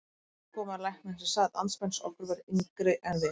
Og nú var svo komið að læknirinn sem sat andspænis okkur var yngri en við.